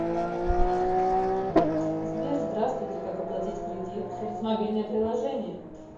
сбер здравствуйте как оплатить кредит через мобильное приложение